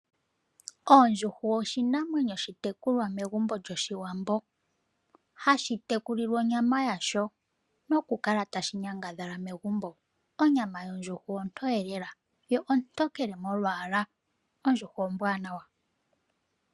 Ondjuhwa oshinamwenyo oshitekulwa megumbo lyoshiwambo hashi tekulilwa onyama yasho nokukala tashi nyangadhala megumbo. Onyama yondjuhwa ontoye lela yo ontokele molwaala. Ondjuhwa ombwanawa.